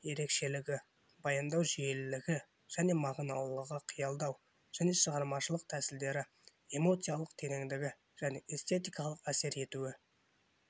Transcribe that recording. ерекшелігі баяндау жүйелілігі және мағыналылығы қиялдау және шығармашылық тәсілдері эмоциялық тереңдігі және эстетикалық әсер етуі